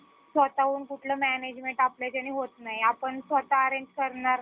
स्वतःहून कुठलं management आपल्याच्याने होत नाही आपण स्वतः हा arrange करणार